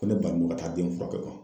Ko ne bannen don ka taa den furakɛ